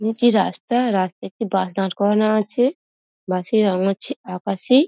নিচে রাস্তা রাস্তায় একটি বাস দাঁড় করানো আছে | বাস -এর রঙ হচ্ছে আকাশি ।